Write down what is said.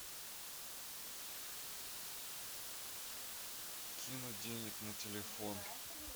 кинуть денег на телефон